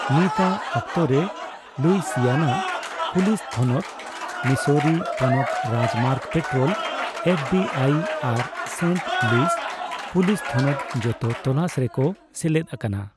ᱱᱤᱛᱟᱜ ᱚᱠᱛᱚ ᱨᱮ, ᱞᱩᱭᱥᱤᱭᱟᱱᱟ ᱯᱩᱞᱤᱥ ᱛᱷᱚᱱᱚᱛ, ᱢᱤᱥᱳᱨᱤ ᱯᱚᱱᱚᱛ ᱨᱟᱡᱽᱢᱟᱨᱜ ᱯᱮᱴᱨᱳᱞ, ᱮᱯᱷᱵᱤᱟᱭ, ᱟᱨ ᱥᱮᱱᱴ ᱞᱩᱭᱤᱥ ᱯᱩᱞᱤᱥ ᱛᱷᱚᱱᱚᱛ ᱡᱚᱛᱚ ᱛᱚᱞᱟᱥ ᱨᱮᱠᱚ ᱥᱮᱞᱮᱫ ᱟᱠᱟᱱᱟ ᱾